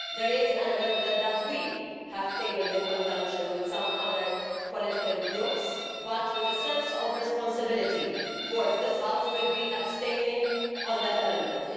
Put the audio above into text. There is an amendment that we have tabled in conjunction with some other political groups but, with a sense of responsibility towards this House, we will be abstaining on that amendment.